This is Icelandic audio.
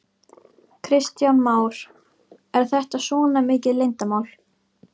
Kristján Már: Er þetta svona mikið leyndarmál?